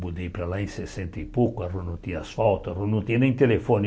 Mudei para lá em sessenta e pouco, a rua não tinha asfalto, a rua não tinha nem telefone.